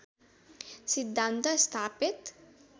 सिद्धान्त स्थापित